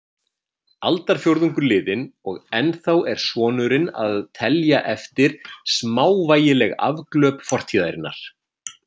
Aldarfjórðungur liðinn og ennþá er sonurinn að telja eftir smávægileg afglöp fortíðarinnar.